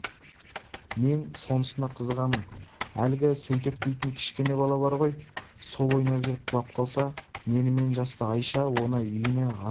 мен сонысына қызығамын әлгі сейтек дейтін кішкене бала бар ғой сол ойнап жүріп құлап қалса менімен жасты айша оны үйіне арқалап